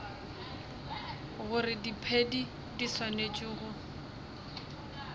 gore diphedi di swanetše go